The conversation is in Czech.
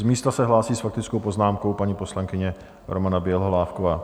Z místa se hlásí s faktickou poznámkou paní poslankyně Romana Bělohlávková.